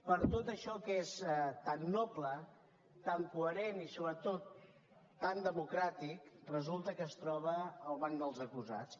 per tot això que és tan noble tan coherent i sobretot tan democràtic resulta que es troba al banc dels acusats